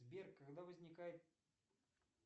сбер когда возникает